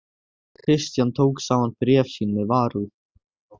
Christian tók saman bréf sín með varúð.